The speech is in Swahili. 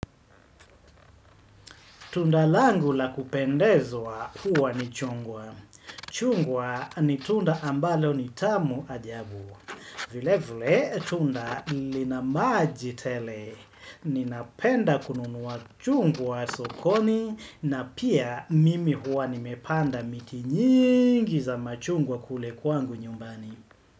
Tundalangu la kupendezwa huwa ni chungwa. Chungwa ni tunda ambalo ni tamu ajabu. Vile vile tunda linamaji tele. Ninapenda kununua chungwa sokoni na pia mimi huwa nimepanda miti nyingi za machungwa kule kwangu nyumbani.